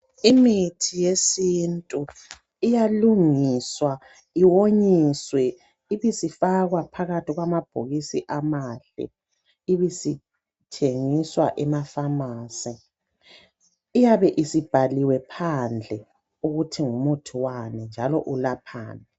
Imithi yesintu iyalungiswa iwonyiswe ibisifakwa phakathi kwamabhokisi amahle ibisithengiswa ema"pharmacy".Iybe isibhaiwe phandle ukuthi ngumuthi wani njalo ilaphani.